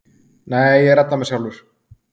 Nei, ég redda mér sjálfur.